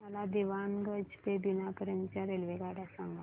मला दीवाणगंज ते बिना पर्यंत च्या रेल्वेगाड्या सांगा